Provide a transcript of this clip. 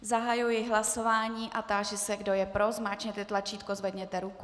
Zahajuji hlasování a táži se, kdo je pro, zmáčkněte tlačítko, zvedněte ruku.